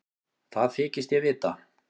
Það þykist ég vita.